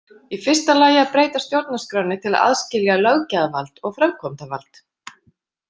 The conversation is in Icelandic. Í fyrsta lagi að breyta stjórnarskránni til að aðskilja löggjafarvald og framkvæmdavald.